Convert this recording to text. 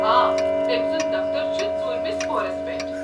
آ، تٔمۍ سُنٛد دفتر چھُ ژوٗرمِس پورس پٮ۪ٹھ۔